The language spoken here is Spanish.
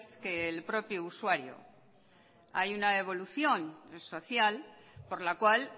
que el propio usuario hay una evolución social por la cual